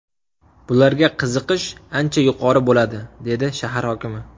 Bularga qiziqish ancha yuqori bo‘ladi”, dedi shahar hokimi.